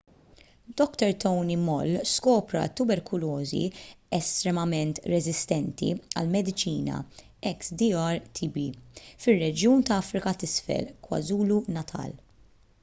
dr tony moll skopra t-tuberkulożi estremament reżistenti għall-mediċina xdr-tb fir-reġjun tal-afrika t’isfel kwazulu-natal